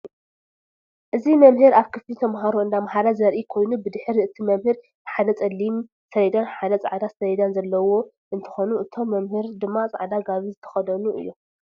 እዚ መምህር አብ ክፍሊ ተምሃሮ እንዳምሃረ ዘርኢ ኮይኑ ብድሕሪ እቲ መምህር ሓደ ፀሊም ሰሌዳን ሓደ ፃዕዳ ሰሌዳን ዘለው እንትኮኑ እቶም መምህር ድማ ፃዕዳ ጋቦን ዝተከደኑ እዮም።